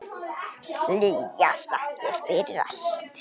Hlýjar þakkir fyrir allt.